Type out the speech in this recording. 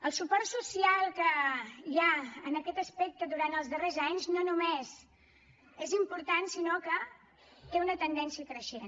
el suport social que hi ha en aquest aspecte durant els darrers anys no només és important sinó que té una tendència creixent